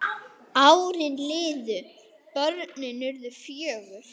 Árin liðu, börnin urðu fjögur.